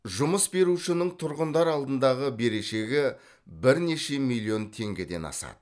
жұмыс берушінің тұрғындар алдындағы берешегі бірнеше миллион теңгеден асады